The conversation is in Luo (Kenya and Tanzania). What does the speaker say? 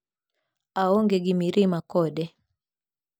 Aonge gi mirima kode".